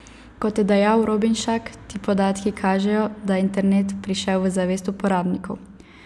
Kot je dejal Robinšak, ti podatki kažejo, da je internet prišel v zavest uporabnikov.